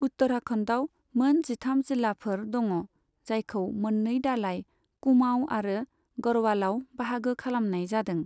उत्तराखन्डाव मोन जिथाम जिल्लाफोर दङ, जायखौ मोन्नै दालाइ, कुमाउ आरो गरवालाव बाहागो खालामनाय जादों।